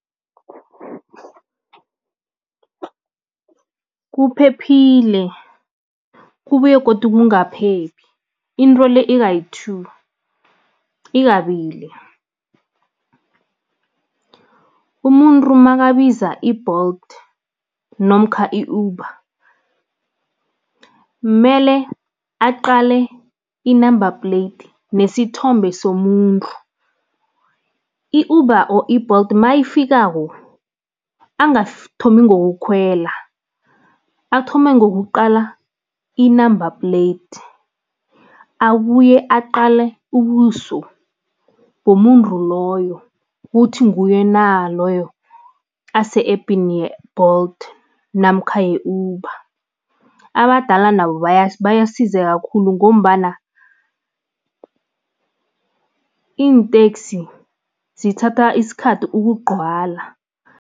Kuphephile, kubuye godu kungaphephi, into le ikayi-two, ikabili. Umuntu makabiza i-Bolt namkha i-Uber, mele aqale i-number plate nesithombe somuntu. I-Uber or i-Bolt mayifikako, angathomi ngokukhwela, athome ngokuqala i-number plate, abuye aqale ubuso bomuntu loyo ukuthi nguye na loyo ase-epini ye-Bolt namkha ye-Uber. Abadala nabo bayasizeka khulu ngombana iinteksi zithatha isikhathi ukugcwala.